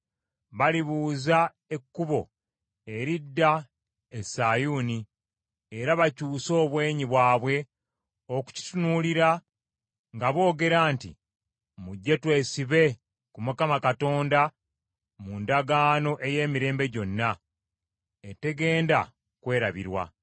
Balibuuza ekkubo eridda e Sayuuni era bakyuse obwenyi bwabwe okukitunuulira, nga boogera nti, Mujje twesibe ku Mukama Katonda mu ndagaano ey’emirembe gyonna etegenda kwerabirwa.